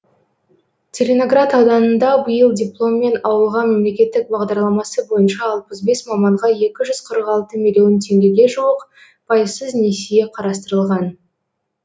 целиноград ауданында биыл дипломмен ауылға мемлекеттік бағдарламасы бойынша алпвс бес маманға екі жүз қырық алты миллион теңгеге жуық пайыссыз несие қарастырылған